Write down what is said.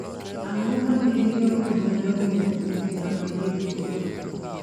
Ang'o ma gin jogo madongo mogik mag hip hop